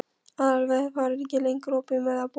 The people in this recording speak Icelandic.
Aðalveig, hvað er lengi opið í Melabúðinni?